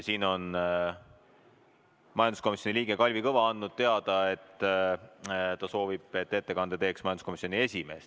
Majanduskomisjoni liige Kalvi Kõva on andnud teada, et ta soovib, et ettekande teeks majanduskomisjoni esimees.